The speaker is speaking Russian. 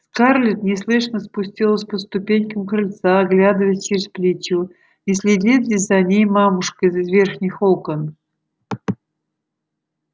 скарлетт неслышно спустилась по ступенькам крыльца оглядываясь через плечо не следит ли за ней мамушка из верхних окон